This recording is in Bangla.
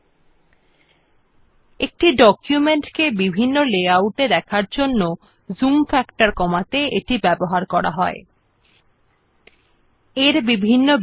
it is used to reduce the zoom factor to see the effects of different view layout settings in the document